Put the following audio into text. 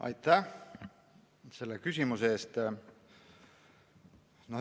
Aitäh selle küsimuse eest!